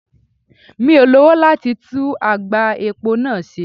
Mi ò lowo láti tú àgbá epo náà ṣe.